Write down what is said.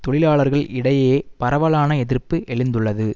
தொழிலாளர்கள் இடையே பரவலான எதிர்ப்பு எழுந்துள்ளது